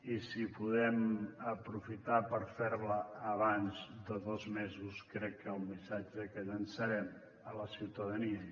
i si podem aprofitar per fer la abans de dos mesos crec que el missatge que llançarem a la ciutadania